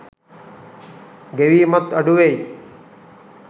ගෙවීමත් අඩුවෙයි.